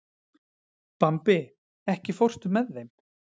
Bambi, ekki fórstu með þeim?